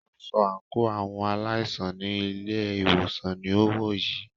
Aṣọ àńkò àwọn aláìsàn ní ilé ìwòsàn ní o wọ̀ yìí.